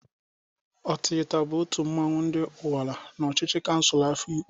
Ọtịghịta bụ otu mmanwụ ndị Ụnwara n'ọchịcha kansul Ehụgbọ.